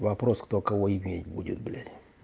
вопрос кто кого иметь будет блять